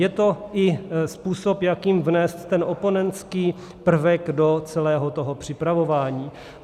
Je to i způsob, jakým vnést ten oponentský prvek do celého toho připravování.